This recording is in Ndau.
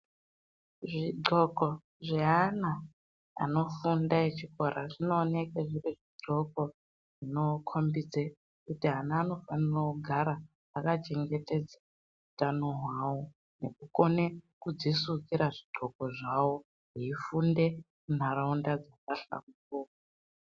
Zvidxoko zveana anofunda echikora zvinooneke zviri zvidxoko zvinokombidze kuti ana anofanira kugara akachengetedza utano hwawo nekukone kudzisukira zvidxoko zvavo eifunde munharaunda dzakahlamburuka.